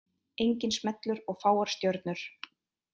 Enginn smellur og fáar stjörnur